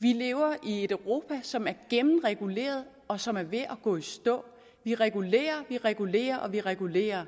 vi lever i et europa som er gennemreguleret og som er ved at gå i stå vi regulerer vi regulerer og vi regulerer